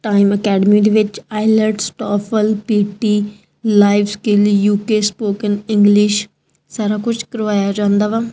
Time academy ਦੇ ਵਿੱਚ ਆਈਲਸਟ TOEFL PTE life skills UK spoken English ਸਾਰਾ ਕੁਝ ਕਰਵਾਇਆ ਜਾਂਦਾ ਵਾ।